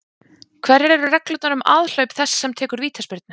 Hverjar eru reglurnar um aðhlaup þess sem tekur vítaspyrnu?